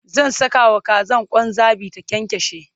zan Saka wa Kazan Kwan zabi ta kyankyashe